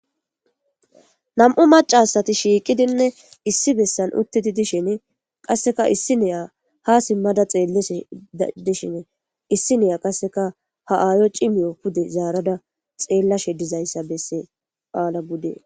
nam7u macasati shiiqidinne issi bessan utteti dishin qasseka issi neya ha simmada xeelle dishin issi neya qasseka ha aayo cimiyo pude zaarada xeellashe dizayssa bessesas ala bude